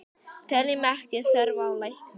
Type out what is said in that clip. Teljum ekki þörf á lækni!